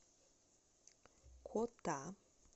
кота